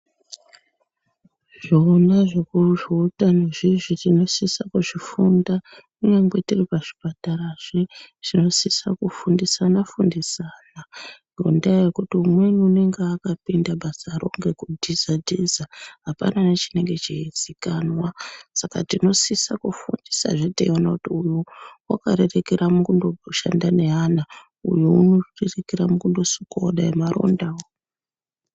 Zvona zveutamo izvozvo tinosisa kuzvifunda kunyange tiri pachipatara zvinosisa kufundisana fundisana ngendaa imweni umweni unenge aka pinda basaro ngekudhiza dhiza hapana nechinenge cheizikanwa. Saka tinosisa kufundisazve teiona kuti uyu wakarerekera mukundoshanda neana uyo unosisa kusukawo dai marondawo